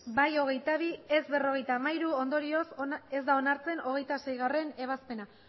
bai hogeita bi ez berrogeita hamairu ondorioz ez da onartzen hogeita seigarrena ebazpena